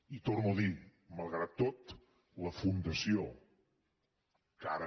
i ho torno a dir malgrat tot la fundació que ara